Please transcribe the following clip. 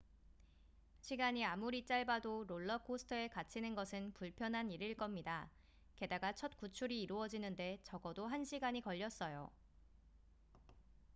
시간이 아무리 짧아도 롤러코스터에 갇히는 것은 불편한 일일 겁니다 게다가 첫 구출이 이루어지는데 적어도 한 시간이 걸렸어요